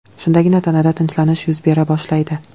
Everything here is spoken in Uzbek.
Shundagina tanada tinchlanish yuz bera boshlaydi.